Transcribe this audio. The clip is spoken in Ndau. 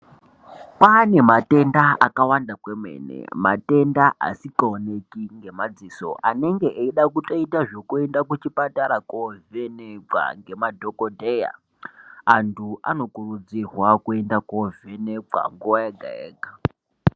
Pamematenda akawanda kwemene matenda asingaoneki ngemadziso anenge eida kutoita zvekuenda kuchipatara kovhenekwa ngema dhokodheya. Antu anokurudzirwa kuenda kovhenekwa nguwa yega yega.